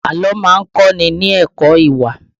Àlọ́ má ń kọ́ ni ní ẹ̀kọ́ ìwà